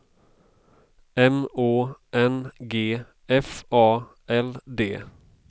M Å N G F A L D